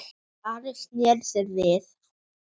Ari sneri sér við.